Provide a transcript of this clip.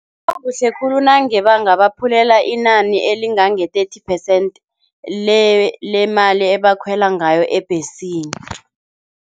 Kungaba kuhle khulu nange bangabaphulela inani elingange-thirty percent lemali ebakhwela ngayo ebhesini.